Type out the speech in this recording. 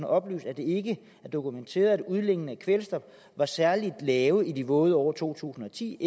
oplyst at det ikke er dokumenteret at udledningen af kvælstof var særskilt lav i de våde år to tusind og ti og